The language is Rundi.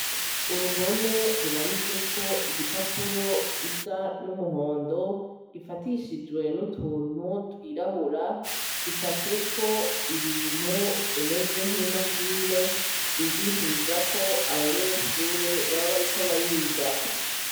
Uruhome rumanitseko igipapuro gisa n'umuhondo gifatishijwe n'utuntu twirabura gicafyeko ibintu bimeze nk'imashine bigishiriza ko abanyeshure baba bariko bariga.